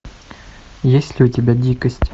есть ли у тебя дикость